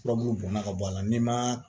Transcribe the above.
Furabulu bɔnna ka bɔ a la n'i ma